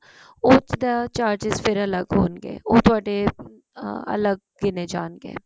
ਉਹ ਚ ਤਾਂ charges ਫ਼ੇਰ ਅਲੱਗ ਹੋਣਗੇ ਤੁਹਾਡੇ ਅਲੱਗ ਗਿਣੇ ਜਾਣਗੇ